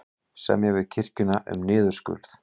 Semja við kirkjuna um niðurskurð